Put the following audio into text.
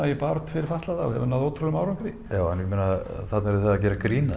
í baráttu fyrir fatlaða og hefur náð ótrúlegum árangri já en ég meina þarna eruð þið að gera grín að